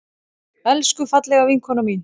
Elsku, fallega vinkona mín.